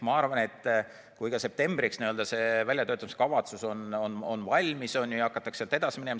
Ma arvan, et kui septembriks väljatöötamiskavatsus on valmis, siis hakatakse sealt edasi minema.